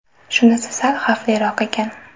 Shunisi sal xavfliroq ekan.